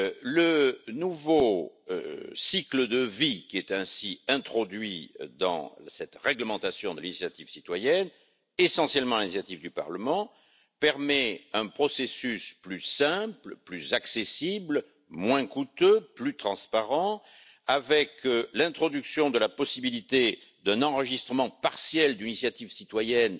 Le nouveau cycle de vie, qui est ainsi introduit dans cette réglementation de l'initiative citoyenne, essentiellement à l'initiative du Parlement, permet un processus plus simple, plus accessible, moins coûteux et plus transparent, il instaure la possibilité d'un enregistrement partiel d'une initiative citoyenne